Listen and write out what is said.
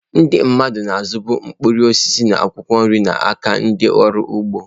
Ndị mmadụ na-azụbu mkpụrụ osisi na akwụkwọ nri n'aka ndị ọrụ ugbo.